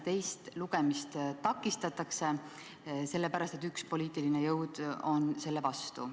Teist lugemist takistatakse, sest üks poliitiline jõud on selle vastu.